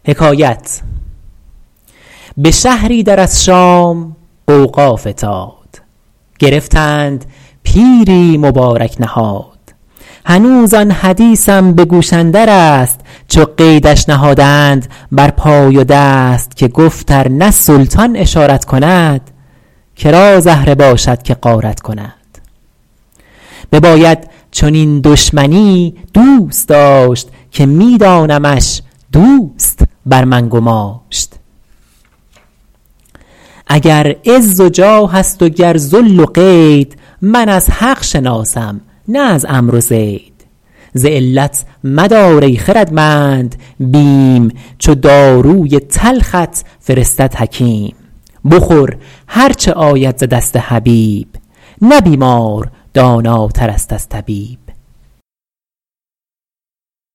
ثنا گفت بر سعد زنگی کسی که بر تربتش باد رحمت بسی درم داد و تشریف و بنواختش به مقدار خود منزلت ساختش چو الله و بس دید بر نقش زر بشورید و برکند خلعت ز بر ز سوزش چنان شعله در جان گرفت که برجست و راه بیابان گرفت یکی گفتش از همنشینان دشت چه دیدی که حالت دگرگونه گشت تو اول زمین بوسه دادی به جای نبایستی آخر زدن پشت پای بخندید کاول ز بیم و امید همی لرزه بر تن فتادم چو بید به آخر ز تمکین الله و بس نه چیزم به چشم اندر آمد نه کس به شهری در از شام غوغا فتاد گرفتند پیری مبارک نهاد هنوز آن حدیثم به گوش اندر است چو قیدش نهادند بر پای و دست که گفت ار نه سلطان اشارت کند که را زهره باشد که غارت کند بباید چنین دشمنی دوست داشت که می دانمش دوست بر من گماشت اگر عز و جاه است و گر ذل و قید من از حق شناسم نه از عمرو و زید ز علت مدار ای خردمند بیم چو داروی تلخت فرستد حکیم بخور هرچه آید ز دست حبیب نه بیمار داناتر است از طبیب